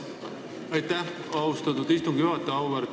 Aitäh, austatud istungi juhataja!